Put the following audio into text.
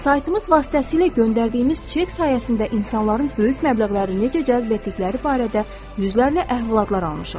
Saytımız vasitəsilə göndərdiyimiz çek sayəsində insanların böyük məbləğləri necə cəzb etdikləri barədə yüzlərlə əhvalatlar almışıq.